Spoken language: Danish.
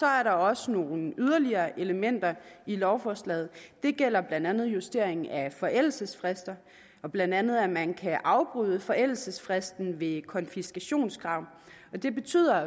er der også nogle yderligere elementer i lovforslaget det gælder blandt andet justeringen af forældelsesfrister og blandt andet at man kan afbryde forældelsesfristen ved konfiskationskrav det betyder